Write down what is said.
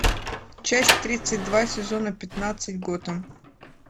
часть тридцать два сезона пятнадцать готэм